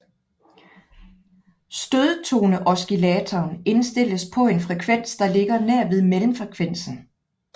Stødtoneoscillatoren indstilles på en frekvens der ligger nær ved mellemfrekvensen